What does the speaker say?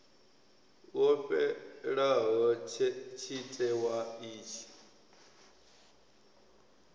wo fhelaho tshite wa itshi